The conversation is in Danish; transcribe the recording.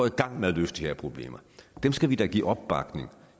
i gang med at løse de her problemer dem skal vi da give opbakning